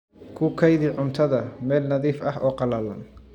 Ku kaydi cuntada meel nadiif ah oo qallalan.